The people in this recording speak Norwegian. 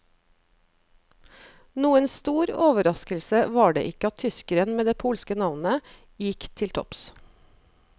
Noen stor overraskelse var det ikke at tyskeren med det polske navnet, gikk til topps.